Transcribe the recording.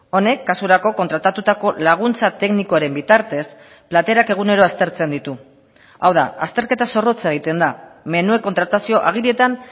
honek kasurako kontratatutako laguntza teknikoaren bitartez platerak egunero aztertzen ditu hau da azterketa zorrotza egiten da menuen kontratazio agirietan